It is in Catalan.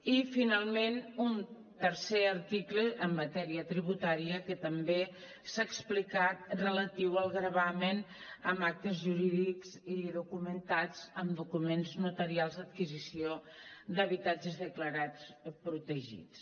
i finalment un tercer article en matèria tributària que també s’ha explicat relatiu al gravamen amb actes jurídics i documentats amb documents notarials d’adquisició d’habitatges declarats protegits